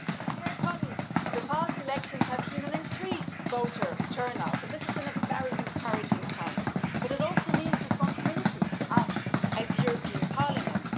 Dear colleagues, the past elections have seen an increased voter turnout, and this is a very encouraging sign, but it also means responsibility to us as the European Parliament.